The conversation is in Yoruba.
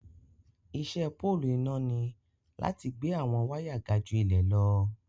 Ìṣẹ pọ̀lụ́ iná ní láti gbẹ̀ awọn wàya gà ju ilẹ̀ lọ.